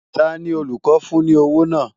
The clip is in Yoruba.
Ta ni olùkọ́ fún ní owó náà?